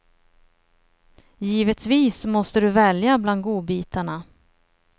Givetvis måste du välja bland godbitarna.